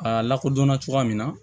A lakodɔn cogoya min na